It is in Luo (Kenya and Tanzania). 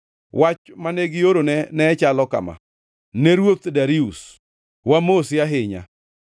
Wach mane giorone ne chalo kama: Ne Ruoth Darius: Wamosi ahinya.